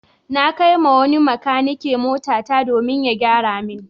Na kai wa wani makanike motata domin ya gyara min.